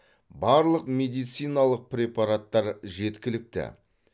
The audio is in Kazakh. барлық медициналық препараттар жеткілікті